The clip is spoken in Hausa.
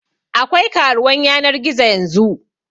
Akwai karuwan yanar gizo yanzu